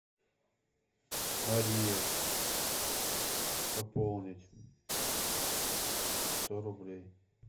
мария пополнить сто рублей